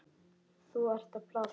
Þú ert að plata.